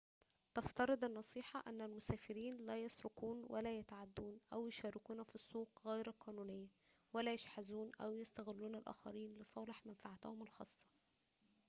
تفترض النصيحة أن المسافرين لا يسرقون ولا يتعدون أو يشاركون في السوق غير القانونية ولا يشحذون أو يستغلون الآخرين لصالح منفعتهم الخاصة